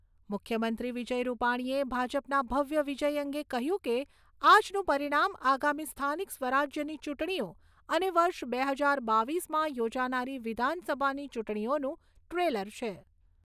મુખ્યમંત્રી વિજય રૂપાણીએ ભાજપના ભવ્ય વિજય અંગે કહ્યું કે, આજનું પરિણામ આગામી સ્થાનિક સ્વરાજ્યની ચૂંટણીઓ અને વર્ષ બે હજાર બાવીસમાં યોજાનારી વિધાનસભાની ચૂંટણીઓનું ટ્રેલર છે.